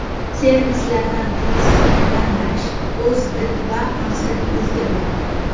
Servislardan qaysisini tanlash o‘z did va maqsadingizga bog‘liq.